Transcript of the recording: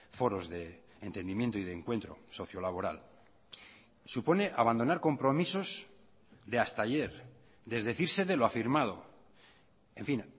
foros de entendimiento y de encuentro socio laboral supone abandonar compromisos de hasta ayer desdecirse de lo afirmado en fin